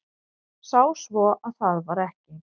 Sá svo að það var ekki.